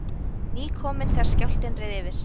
Nýkomin þegar skjálftinn reið yfir